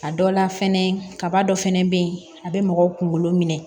A dɔ la fɛnɛ kaba dɔ fɛnɛ bɛ yen a bɛ mɔgɔw kunkolo minɛ